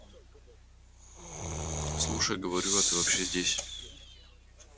слушай говорю а ты вообще здесь